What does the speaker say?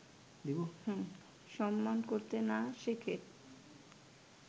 সম্মান করতে না শেখে